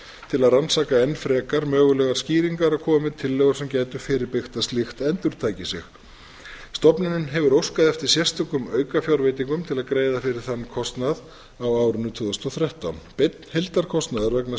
til að rannsaka enn frekar mögulegar skýringar og koma með tillögur sem gætu fyrirbyggt að slíkt endurtaki sig stofnunin hefur óskað eftir sérstökum aukafjárveitingum til að greiða fyrir þann kostnað á árinu tvö þúsund og þrettán beinn heildarkostnaður vegna